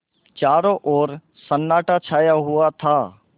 चारों ओर सन्नाटा छाया हुआ था